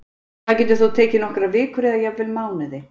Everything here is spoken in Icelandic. Það getur þó tekið nokkrar vikur eða jafnvel mánuði.